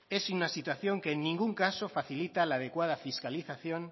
es una situación que en ningún caso facilita la adecuada fiscalización